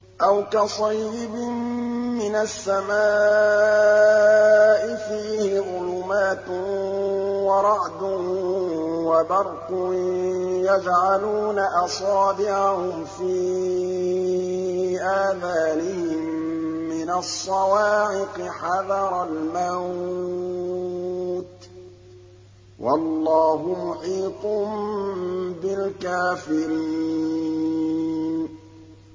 أَوْ كَصَيِّبٍ مِّنَ السَّمَاءِ فِيهِ ظُلُمَاتٌ وَرَعْدٌ وَبَرْقٌ يَجْعَلُونَ أَصَابِعَهُمْ فِي آذَانِهِم مِّنَ الصَّوَاعِقِ حَذَرَ الْمَوْتِ ۚ وَاللَّهُ مُحِيطٌ بِالْكَافِرِينَ